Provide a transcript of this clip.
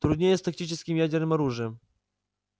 труднее с тактическим ядерным оружием